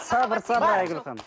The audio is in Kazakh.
сабыр сабыр айгүл ханым